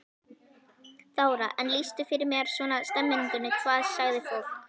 Þóra: En lýstu fyrir mér svona stemmingunni, hvað sagði fólk?